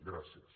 gràcies